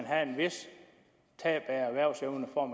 have et vist tab af erhvervsevne for at